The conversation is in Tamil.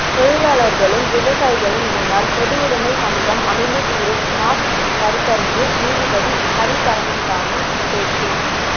தொழிலாளர்களும் விவசாயிகளும் இணைந்தால் பொதுவுடைமை சமூகம் அமைந்தே தீரும் மார்க்ஸ் கருத்தரங்கில் நீதிபதி ஹரிபரந்தாமன் பேச்சு